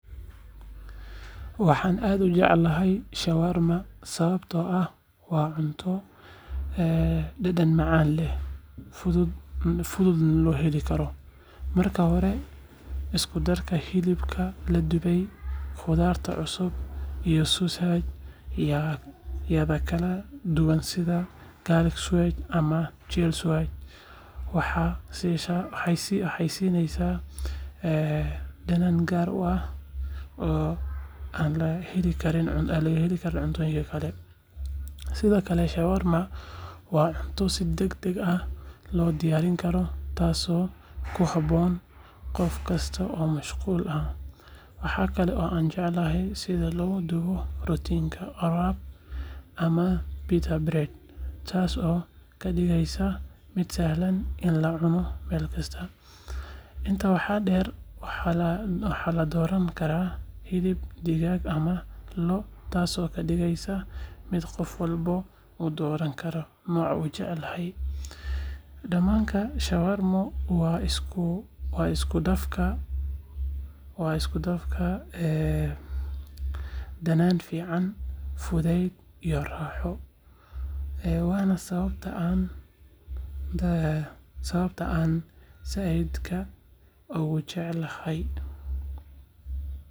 Waxaan aad u jeclahay shawarma sababtoo ah waa cunto dhadhan macaan leh, fududna loo helo. Marka hore, isku-darka hilibka la dubay, khudaarta cusub, iyo sauce-yada kala duwan sida garlic sauce ama chili sauce, waxay siisaa dhadhan gaar ah oo aan laga helin cuntooyinka kale. Sidoo kale, shawarma waa cunto si degdeg ah loo diyaarin karo, taasoo ku habboon qof kasta oo mashquul ah. Waxa kale oo aan jeclahay sida loogu duubo rootiga wrap ama pita bread, taasoo ka dhigaysa mid sahlan in la cuno meel kasta. Intaa waxaa dheer, waxaa la dooran karaa hilib digaag ama lo’, taasoo ka dhigaysa mid qof walba uu dooran karo nooca uu jecel yahay. Dhamaadka, shawarma waa isku dhafka dhadhan fiican, fudayd, iyo raaxo waana sababta aan aad u jeclahay.